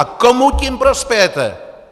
A komu tím prospějete!